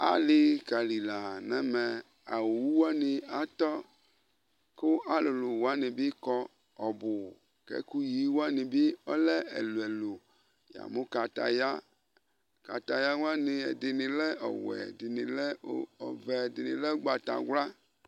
ali kali la nɛmɛ awu wani atɔ ku alulu wani bi kɔ ɔbu kɛ ɛku yi wani bi ɔlɛ ɛluɛlu yamu kataya kataya wani ɛdini ɔwɛ ɛdini lɛ ɔvɛ ɛdini lɛ ugbata ylă